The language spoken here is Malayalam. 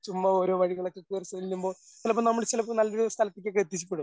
ചുമ്മാ ഓരോ വഴികളൊക്കെ കേറിചെല്ലുമ്പോൾ അല്ല ഇപ്പോ നമ്മള് ചിലപ്പോ നല്ലൊരു സ്ഥലത്തിക്കൊക്കെ എത്തിക്കപ്പെടും.